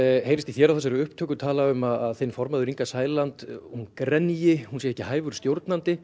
heyrist í þér á þessari upptöku tala um að þinn formaður Inga Sæland hún hún sé ekki hæfur stjórnandi